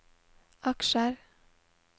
aksjer